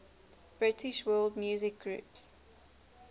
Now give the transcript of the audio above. british world music groups